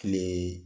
Kile